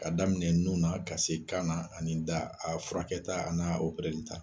Ka daminɛ nun na ka se kan na ani da a furakɛta an'a ta.